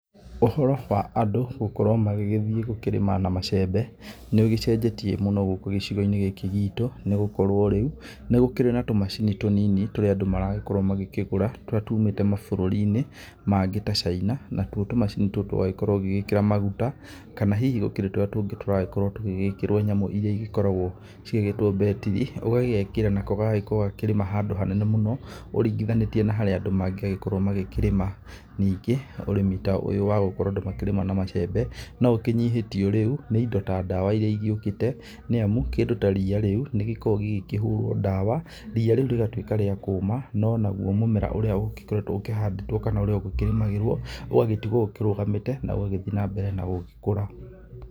Ũhoro wa andũ gũkorwo magĩgĩthiĩ gũkĩrĩma na macembe nĩ ũgĩcenjetie mũno gũkũ gĩcigo-inĩ gitũ, nĩ gũkorwo rĩu nĩ gũkĩrĩ na tũmacini tũnini tũrĩa andũ maragĩkorwo magĩkĩgũra. Tũrĩa tũmĩte mabũruri mangĩ ta Chaina, natũo tũmacini tũtũ ũragĩkorwo ũgĩgĩkĩra maguta kana hihi gũkĩrĩ tũrĩa tũngĩ tũragĩkorwo tũgĩkĩrwo nyamũ iria igĩkoragwo igĩgĩtwo mbetiri. Ũgagekĩra nako gagakorwo gakĩrĩrma handũ hanene mũno ũringithanĩtie na haríĩa andũ mangĩagĩkorwo makĩrĩma. Nĩngĩ ũrĩmi ta ũyũ wa gũkorwo andũ makĩrĩma na macembe no ũkĩnyihĩtio rĩu nĩ indo ta ndawa iria igĩũkĩte, nĩ amu kĩndũ ta ria rĩu nĩ rĩkoragwo rikĩhũrwo ndawa ria rĩu rĩgakworwo rĩa kũma. No naguo mũmera ũrĩa ũgĩkoretwo ũkĩhandĩtwo kana ũrĩa ũgũkĩrimagĩrwo ũgagitigwo ũkĩrũgamĩte na ũgagĩthiĩ na mbere na gũgĩkũra.